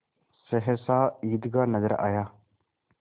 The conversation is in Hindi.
सहसा ईदगाह नजर आया